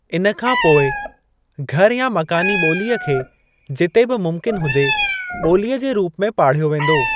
इन खां पोइ, घर या मकानी ॿोलीअ खे जिते बि मुमकिन हुजे, ॿोलीअ जे रूप में पाढ़यो वेंदो।